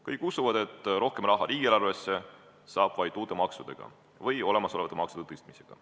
Kõik usuvad, et rohkem raha riigieelarvesse saab vaid uute maksudega või olemasolevate maksude tõstmisega.